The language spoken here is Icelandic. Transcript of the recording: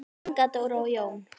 Inga Dóra og Jón.